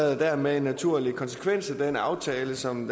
er dermed en naturlig konsekvens af den aftale som